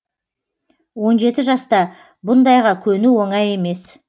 он жеті жаста бұндайға көну оңай емес